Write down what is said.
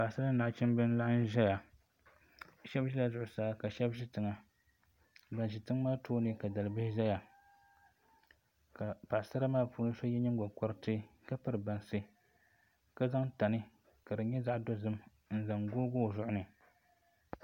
Paɣasara ni nachimbi n laɣam ʒɛya shab ʒɛla zuɣusaa ka shab ʒɛ tiŋa ban ʒi tiŋ maa tooni ka dalibihi ʒɛya ka paɣasara maa puuni so yɛ nyingokoriti ka piri bansi ka zqŋ tani ka di nyɛ zaɣ dozim n zaŋ googi o zuɣu ni